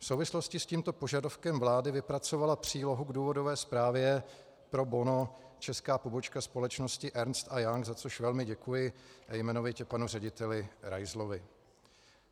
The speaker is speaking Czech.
V souvislosti s tímto požadavkem vlády vypracovala přílohu k důvodové zprávě pro bono česká pobočka společnosti Ernst a Young, za což velmi děkuji, a jmenovitě panu řediteli Raizlovi.